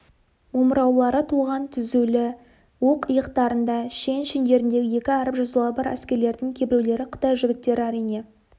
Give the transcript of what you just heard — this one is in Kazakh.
омыраулары толған тізулі оқ иықтарында шен шендеріндегі екі әріп жазулары бар әскерлердің кейбіреулері қытай жігіттері әрине